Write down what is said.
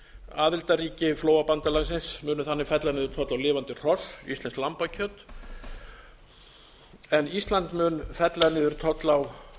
aðildarríki flóabandalagsins munu þannig fella niður tolla á lifandi hross íslenskt lambakjöt en ísland mun fella niður tolla á